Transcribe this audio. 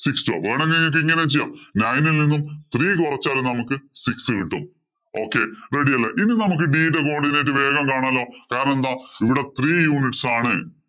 six two. Nine ഇല്‍ നിന്നും three കുറച്ചാല്‍ നമുക്ക് six കിട്ടും. Okay, ready അല്ലേ. ഇനി നമുക്ക് b യുടെ coodinate വേഗം കാണാലോ. കാരണം എന്താ ഇവിടെ three units ആണ്.